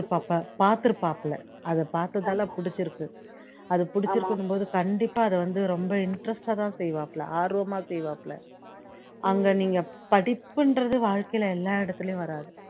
பாப பாத்துருப்பாப்ல அத பாத்ததால பிடிச்சுருக்கு அது பிடிச்சுருக்குன்னும் போது கண்டிப்பா அத வந்து ரொம்ப interest ஆதான் செய்வாப்ல ஆர்வமா செய்வாப்ல அங்க நீங்க படிப்புன்றது வாழ்க்கையில எல்லா இடத்துலேயும் வராது